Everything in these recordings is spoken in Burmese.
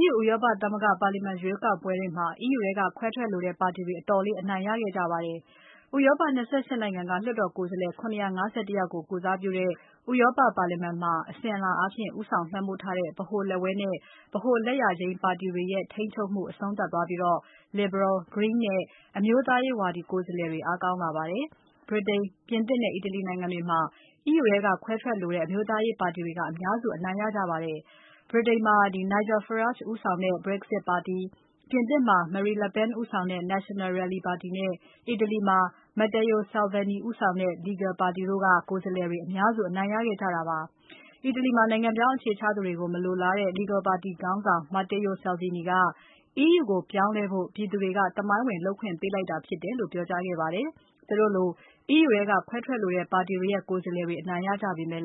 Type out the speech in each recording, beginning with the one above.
EU ဥရောပသမဂ္ဂပါလီမာန် ရွေးကောက်ပွဲတွေမှာ EU ထဲက ခွဲထွက်လိုတဲ့ပါတီတွေ အတော်လေးအနိုင်ရခဲ့ပါတယ်။ ဥရောပ ၂၈ နိုင်ငံက လွှတ်တော်ကိုယ်စားလှယ် ၇၅၁ ယောက် ကိုယ်စားပြုတဲ့ ဥရောပပါလီမာန်မှာ အစဉ်အလာအားဖြင့် ဦးဆောင် လွှမ်းမိုးထားတဲ့ ဗဟိုလက်ဝဲနဲ့ ဗဟိုလက်ယာယိမ်းပါတီတွေရဲ့ ထိန်းချုပ်မှု အဆုံးသတ်သွားပြီး Liberal၊ Green နဲ့ အမျိုးသားရေးဝါဒီ ကိုယ်စားလှယ်တွေ အားကောင်းလာပါတယ်။ ဗြိတိန်၊ ပြင်သစ်နဲ့ အီတလီနိုင်ငံတွေမှာ EU ထဲက ခွဲထွက်လိုတဲ့ အမျိုးသားရေး ပါတီတွေက အများစု အနိုင်ရပါတယ်။ ဗြိတိန်မှာ Nigel Farage ဦးဆောင်တဲ့ Brexit ပါတီ၊ ပြင်သစ်မှာ Marine Le Pen ဦးဆောင်တဲ့ National Rally ပါတီနဲ့ အီတလီမှာ Matteo Salvini ဦးဆောင်တဲ့ Lega ပါတီတို့က ကိုယ်စားလှယ်တွေ အများစု အနိုင်ရခဲ့ကြတာပါ။ အီတလီမှာ နိုင်ငံပြောင်း အခြေချသူတွေကို မလိုလားတဲ့ Lega ပါတီ ခေါင်းဆောင် Matteo Salvini က EU ကိုပြောင်းလဲဖို့ ပြည်သူတွေက သမိုင်းဝင် လုပ်ပိုင်ခွင့် ပေးလိုက်တာ ဖြစ်တယ်လို့ ပြောကြားခဲ့ပါတယ်။ သူတို့လို EU ထဲက ခွဲထွက်လိုတဲ့ ပါတီတွေရဲ့ ကိုယ်စားလှယ်တွေ အနိုင်ရကြပေမဲ့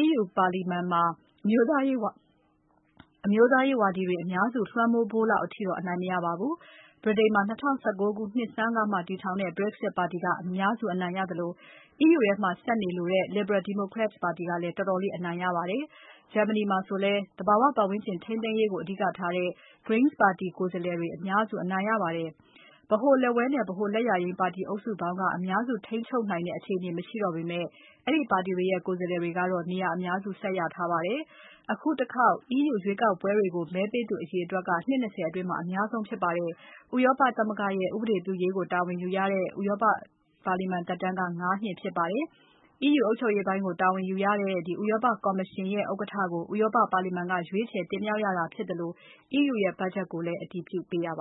EU ပါလီမာန်မှာ အမျိုးသားရေးဝါဒီတွေ အများစုလွှမ်းမိုးဖို့လောက်အထိတော့ အနိုင်မရပါဘူး။ ဗြိတိန်မှာ ၂၀၁၉ နှစ်ဆန်းကမှ တည်ထောင်တဲ့ Brexit ပါတီက အများစု အနိုင်ရခဲ့သလို EU ထဲမှာ ဆက်နေလိုတဲ့ Liberal Democrats ပါတီကလည်း တော်တော်လေး အနိုင်ရပါတယ်။ Germany မှာဆိုလည်း သဘာဝပါတ်ဝန်းကျင် ထိန်းသိမ်းရေးကို အဓိကထားတဲ့ Greens ပါတီ ကိုယ်စားလှယ်တွေက အများစု အနိုင်ရပါတယ်။ ဗဟိုလက်ဝဲနဲ့ ဗဟိုလက်ယာယိမ်းပါတီအုပ်စုပေါင်းက အများစုထိန်းချုပ်နိုင်တဲ့အခြေအနေ မရှိတော့ပေမဲ့ အဲ့ဒီပါတီတွေရဲ့ ကိုယ်စားတွေကတော့ နေရာအများစု ဆက်ရထားပါတယ်။ အခုတခေါက် EU ရွေးကောက်ပွဲတွေကို မဲပေးသူအရေအတွက်ဟာ နှစ် ၂၀ အတွင်း အများဆုံး ဖြစ်ပါတယ်။ ဥရောပသမဂ္ဂရဲ့ ဥပဒေပြုရေးကို တာဝန်ယူရတဲ့ ဥရောပလွှတ်တော်သက်တမ်းက ၅ နှစ် ဖြစ်ပါတယ်။ EU အုပ်ချုပ်ရေးပိုင်းကို တာဝန်ယူရတဲ့ ဥရောပကော်မရှင်ရဲ့ ဥက္ကဋ္ဌကို ဥရောပပါလီမာန်က ရွေးချယ်တင်မြှောက်ရတာဖြစ်သလို EU ရဲ့ဘတ်ချက်ကိုလည်း အတည်ပြုပေးရပ